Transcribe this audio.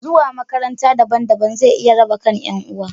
Zuwa makaranta daban-daban zai iya raba kan ’yan uwa.